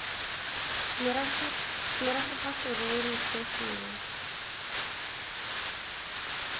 morago ga serori se sengwe